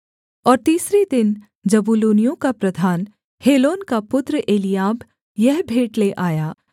और तीसरे दिन जबूलूनियों का प्रधान हेलोन का पुत्र एलीआब यह भेंट ले आया